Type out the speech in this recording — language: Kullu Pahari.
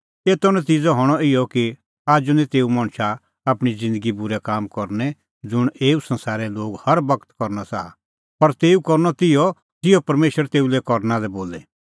एतो नतिज़अ हणअ इहअ कि आजू निं तेऊ मणछा आपणीं ज़िन्दगी बूरै काम करनै ज़ुंण एऊ संसारे लोग हर बगत करनअ च़ाहा पर तेऊ करनअ तिहअ ज़िहअ परमेशर तेऊ लै करना लै बोले